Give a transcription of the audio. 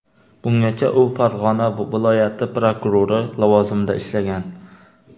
Bungacha u Farg‘ona viloyati prokurori lavozimida ishlagan.